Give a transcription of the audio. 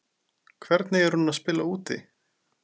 Hvernig er hún að spila úti?